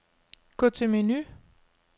Gå til menu.